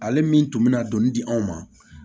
Ale min tun me na dɔni di anw ma